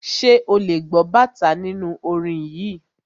Ṣé ò lè gbọ́ bàtá nínú orin yìí.